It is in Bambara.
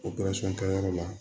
kɛyɔrɔ la